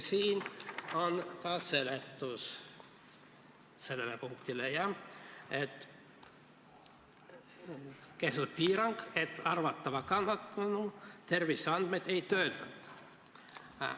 Siin on ka seletus sellele punktile – kehtestatud on piirang, et arvatava kannatanu terviseandmeid ei töödelda.